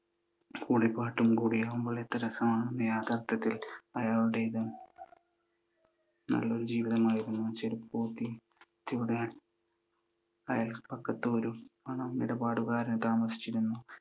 മൂളി പാട്ടും കൂടിയാകുമ്പോൾ, എത്ര രസമായിരുന്നു. യാഥാർഥ്യത്തിൽ അയാളുടേത് നല്ലൊരു ജീവിതമായിരുന്നു. ചെരുപ്പുകുത്തിയുടെ അയല്പക്കത്തൊരു പണമിടപാടുകാരൻ താമസിച്ചിരുന്നു.